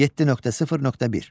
7.0.1.